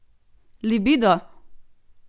Libido!